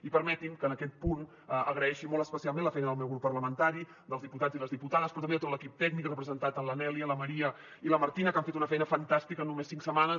i permetin me que en aquest punt agraeixi molt especialment la feina del meu grup parlamentari dels diputats i les diputades però també de tot l’equip tècnic representat en la nelly la maria i la martina que han fet una feina fantàstica en només cinc setmanes